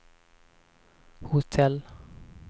hotell